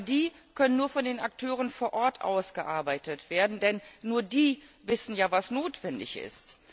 Aber die können nur von den Akteuren vor Ort ausgearbeitet werden, denn nur die wissen ja, was notwendig ist.